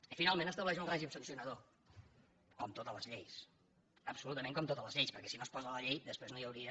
i finalment estableix un règim sancionador com totes les lleis absolutament com totes les lleis perquè si no es posa a la llei després no hi hauria